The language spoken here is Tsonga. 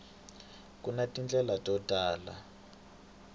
ku na tindlela to tala